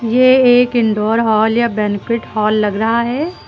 ये एक indoor hall या बैंक्विट हॉल लग रहा है।